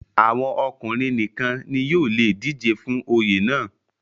àwọn ọkùnrin nìkan ni yóò le dijé fún Oyè náà